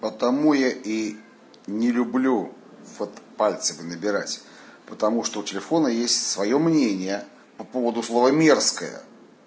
потому я и не люблю вот пальцем набирать потому что у телефона есть своё мнение по поводу слова мерзкое